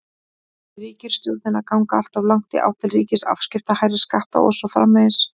Er ríkisstjórnin að ganga alltof langt í átt til ríkisafskipta, hærri skatta og svo framvegis?